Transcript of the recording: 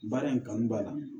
Baara in kanu b'a la